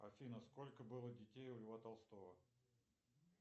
афина сколько было детей у льва толстого